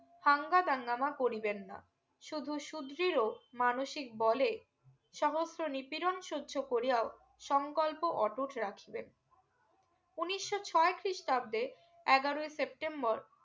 থাংগা দাংগামা করিবেন না শুধু সুদৃঢ় মানুষীক বলে সহস্র নিপিরণ সহ্য করিয়াও সংকল্প ওটুট রাখিবেন উনিশশো ছয় খ্রিস্টাব্দে এগারোই September